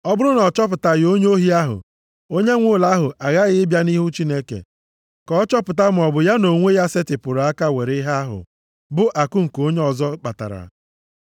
Ọ bụrụ na a chọpụtaghị onye ohi ahụ, onye nwe ụlọ ahụ aghaghị ịbịa nʼihu Chineke, ka a chọpụta maọbụ ya nʼonwe ya setịpụrụ aka were ihe ahụ, bụ akụ nke onye ọzọ kpatara.